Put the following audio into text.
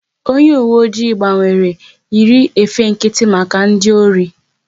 Onye uwe oji gbanwere, yiri efe nkịtị maka ndị ori